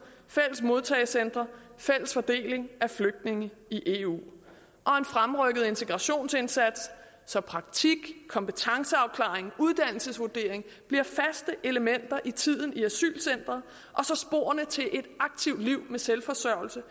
fælles modtagecentre fælles fordeling af flygtninge i eu og en fremrykket integrationsindsats så praktik kompetenceafklaring uddannelsesvurdering bliver faste elementer i tiden i asylcentret og så sporene til et aktivt liv med selvforsørgelse